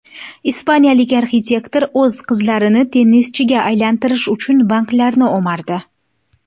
Ispaniyalik arxitektor o‘z qizlarini tennischiga aylantirish uchun banklarni o‘mardi.